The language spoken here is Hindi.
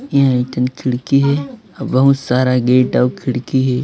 खिड़की है अ बहुत सारा गेट और खिड़की है।